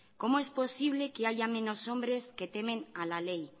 cómo es posible que haya menos hombres que temen a la ley